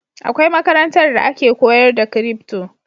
Akwai makarantar da ake koyar da crypto